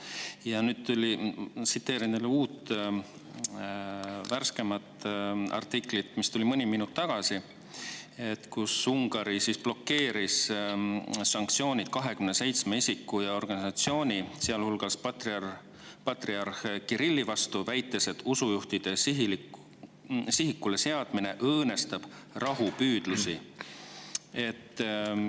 Ja nüüd tuli uudis – loen uut, värskemat artiklit, mis tuli mõni minut tagasi –, et Ungari blokeeris sanktsioonid 27 isiku ja organisatsiooni, sealhulgas patriarh Kirilli vastu, väites, et usujuhtide sihikule seadmine õõnestab rahupüüdlusi.